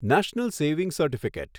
national saving certificate